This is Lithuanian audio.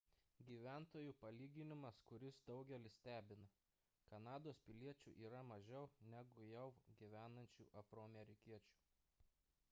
gyventojų palyginimas kuris daugelį stebina kanados piliečių yra mažiau negu jav gyvenančių afroamerikiečių